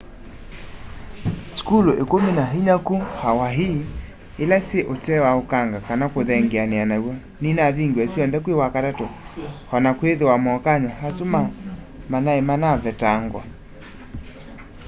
sukulu ikumi na inya ku hawaii ila syi utee wa ukanga kana kuthengeania naw'o ninavingiwe syonthe kwi wakatatu ona kwithiwa mokany'o asu ma nai manavetangwa